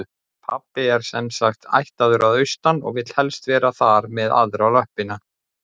Pabbi er sem sagt ættaður að austan og vill helst vera þar með aðra löppina.